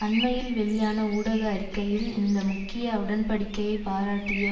அண்மையில் வெளியான ஊடக அறிக்கையில் இந்த முக்கிய உடன்படிக்கையை பாராட்டிய